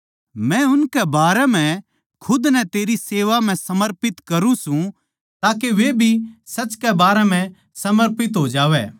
मै उनकै खात्तर खुद नै तेरी सेवा म्ह समर्पित करूँ सूं ताके वे भी सच कै खात्तर समर्पित हो जावै